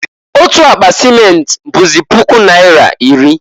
Otu akpa simenti bụzị puku naira iri.